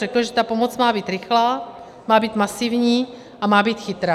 Řekl, že ta pomoc má být rychlá, má být masivní a má být chytrá.